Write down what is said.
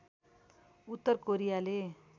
उत्तर कोरियाले